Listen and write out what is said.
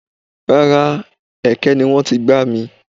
Rárá, ẹ̀kẹ́ ni wọ́n ti gbá mi.